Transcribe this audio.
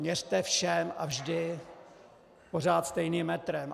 Měřte všem a vždy pořád stejným metrem.